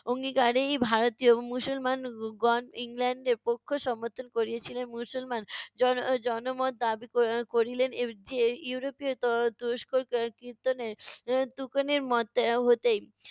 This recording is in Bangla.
অঙ্গীকারেই ভারতীয় মুসলমান গ~ গণ ইংল্যান্ডের পক্ষ সমর্থন করিয়েছিলেন। মুসলমান জন~ জনমত দাবি ক~ করিলেন এর যে ইউরোপীয় ত~ তুরস্ক তুকিনের মত হতেই